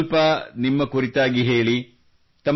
ನನಗೂ ಸ್ವಲ್ಪ ನಿಮ್ಮ ಕುರಿತಾಗಿ ಹೇಳಿ